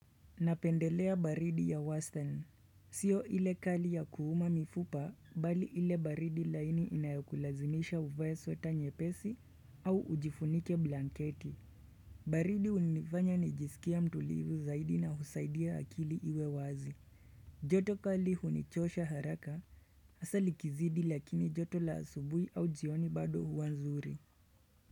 Napendelea baridi ya wastani Siyo ile kali ya kuuma mifupa bali ile baridi laini inayokulazimisha uvae sweta nyepesi au ujifunike blanketi baridi hunifanya nijisikie mtulivu zaidi na husaidia akili iwe wazi joto kali hunichosha haraka hasa likizidi lakini joto la asubuhi au jioni bado huwa zuri.